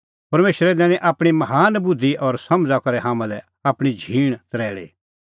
परमेशरै दैनी आपणीं महान बुधि और समझ़ा करै हाम्हां लै आपणीं झींण तरैल़ी